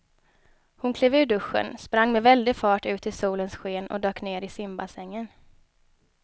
Hon klev ur duschen, sprang med väldig fart ut i solens sken och dök ner i simbassängen.